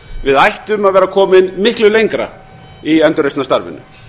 við ættum að vera komin miklu lengra í endurreisnarstarfinu